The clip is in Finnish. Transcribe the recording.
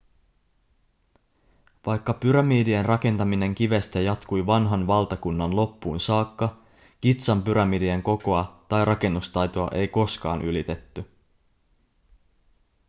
vaikka pyramidien rakentaminen kivestä jatkui vanhan valtakunnan loppuun saakka gizan pyramidien kokoa tai rakennustaitoa ei koskaan ylitetty